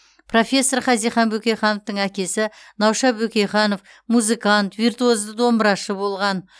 профессор хазихан бөкейхановтың әкесі науша бөкейханов музыкант виртуозды домбырашы болған